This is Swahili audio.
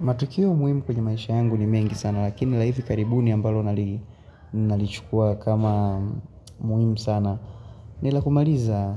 Matukio muhimu kwenye maisha yangu ni mengi sana, lakini la hivi karibuni ambalo nalichukua kama muhimu sana. Nilakumaliza